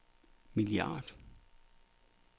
milliard